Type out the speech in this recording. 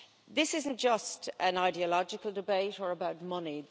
This isn't just an ideological debate or about money